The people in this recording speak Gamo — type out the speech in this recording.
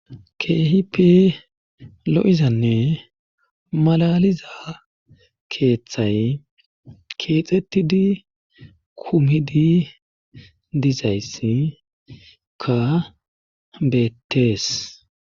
keehipi lo7izanne malaliza keeththay keexxettidi kumidi diizayssika beettees